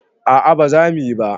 A'a baza muyi ba